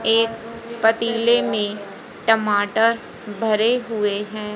एक पतीले में टमाटर भरे हुए हैं।